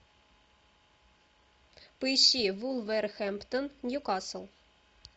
поищи вулверхэмптон ньюкасл